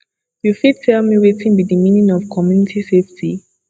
you fit tell me wetin be di meaning of community safety